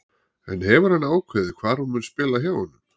En hefur hann ákveðið hvar hún mun spila hjá honum?